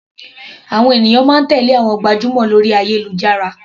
Àwọn ènìyàn máa ń tèlé àwọn gbajúmọ̀ lórí ayélujára.